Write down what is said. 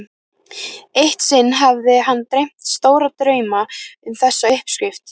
Eitt sinn hafði hann dreymt stóra drauma um þessa uppskrift.